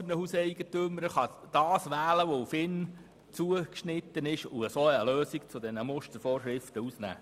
Denn er kann aus den MuKEn das wählen, was auf ihn zugeschnitten ist und so eine Lösung herausnehmen.